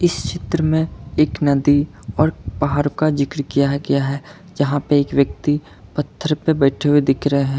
इस चित्र में एक नदी और पहाड़ का जिक्र किया है किया है जहां पे एक व्यक्ति पत्थर पे बैठे हुए दिख रहे हैं।